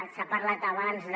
s’ha parlat abans de